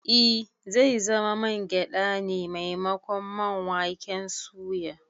I, zai zama man gyade ne maimakon man waken suya